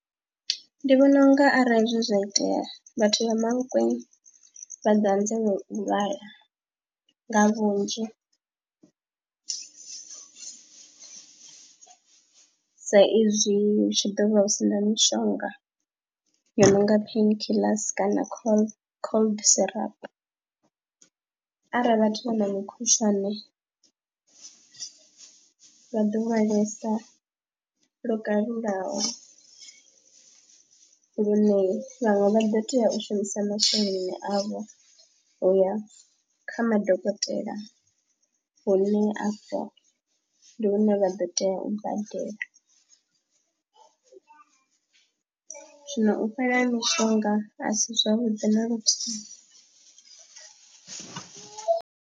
Ndi vhona u nga arali zwi zwa itea vhathu vha Mankweng vha ḓa anzela u lwala nga vhunzhi sa izwi hu tshi ḓo vha hu si na mishonga yo no nga pain killers kana cold syrup arali vhathu vha na mukhushwane vha ḓo lwalesa lo kalulaho lune vhaṅwe vha ḓo tea u shumisa masheleni avho u ya kha madokotela hune afha ndi hune vha ḓo tea u badela. Zwino u fhela ha mishonga a si zwavhuḓi na luthihi.